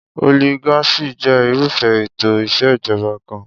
Oligarchy je irúfé ètò ìsèjoba kan.